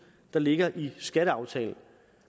der ligger i skatteaftalen